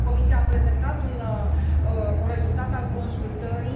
Comisia a prezentat un rezultat al consultării.